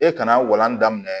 E kana walan daminɛ